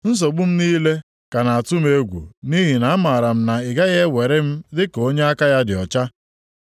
Nsogbu m niile ka na-atụ m egwu nʼihi na amara m na ị gaghị ewere m dịka onye aka ya dị ọcha.